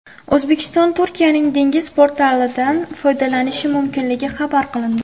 O‘zbekiston Turkiyaning dengiz portlaridan foydalanishi mumkinligi xabar qilindi.